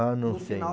Ah, não sei.